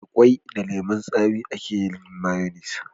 Da kwai da lemun tsami a ke yin mayonis